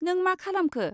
नों मा खालामखो?